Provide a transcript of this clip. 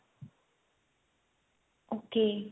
ok